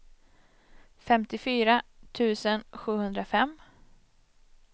femtiofyra tusen sjuhundrafem